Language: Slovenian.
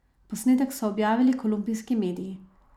Posnetek so objavili kolumbijski mediji.